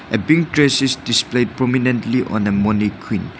a pink dress is displayed prominently on a mannequin.